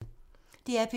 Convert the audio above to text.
DR P2